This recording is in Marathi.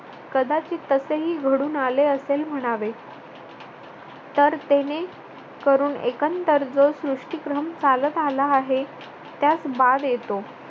कदाचित तसेही घडून आले असेल म्हणावे तरतेने करून एकंदर जो सृष्टीक्रम चालत आला आहे त्यास बाब येतो.